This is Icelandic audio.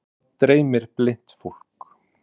Hvað dreymir blint fólk?